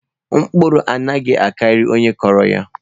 Okwụrụ anaghi akari onye kuru ya.